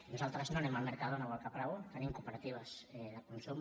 nosaltres no anem al mercadona o al caprabo tenim cooperatives de consum